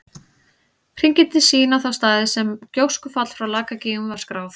Hringirnir sýna þá staði þar sem gjóskufall frá Lakagígum var skráð.